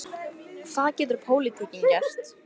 Hvað getur pólitíkin gert?